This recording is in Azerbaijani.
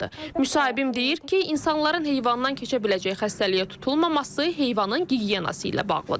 Müsahibim deyir ki, insanların heyvandan keçə biləcəyi xəstəliyə tutulmaması heyvanın gigiyenası ilə bağlıdır.